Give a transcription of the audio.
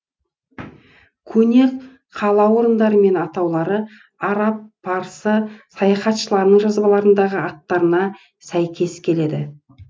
көне қала орындары мен атаулары араб парсы саяхатшыларының жазбаларындағы аттарына сәйкес келеді